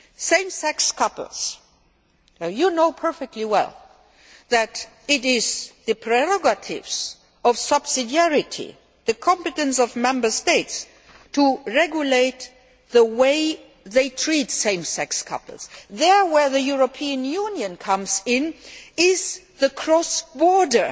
it. Same sex couples well you know perfectly well that it is the prerogative of subsidiarity, the competence of Member States to regulate the way they treat same sex couples. Where the European Union comes in is the cross border